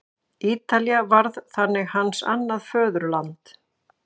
Ítalía varð þannig hans annað föðurland.